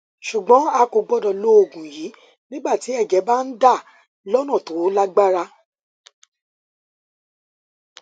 ṣùgbọn a kò gbọdọ lo oògùn yìí nígbà tí ẹjẹ ẹjẹ bá ń dà lọnà tó lágbára